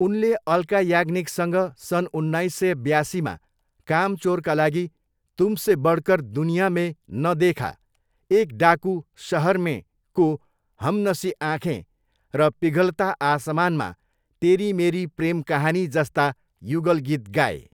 उनले अल्का याज्ञनिकसँग सन् उन्नाइस सय ब्यासीमा कामचोरका लागि 'तुमसे बढकर दुनिया मे न देखा', एक डाकु सहर मेको 'हमनसी आँखे' र पिघलता आसमानमा 'तेरी मेरी प्रेम कहानी' जस्ता युगल गीत गाए।